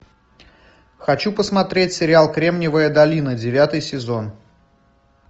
хочу посмотреть сериал кремниевая долина девятый сезон